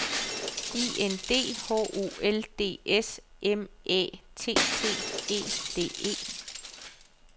I N D H O L D S M Æ T T E D E